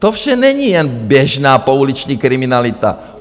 To vše není jen běžná pouliční kriminalita.